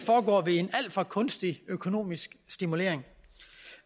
for kunstig økonomisk stimulering